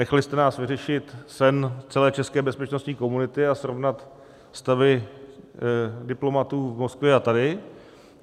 Nechali jste nás vyřešit sen celé české bezpečnostní komunity a srovnat stavy diplomatů v Moskvě a tady.